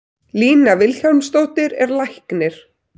Lína Vilhjálmsdóttir er læknir.